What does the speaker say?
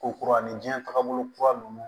Ko kura ni diɲɛ takabolo kura ninnu